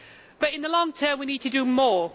But in the long term we need to do more.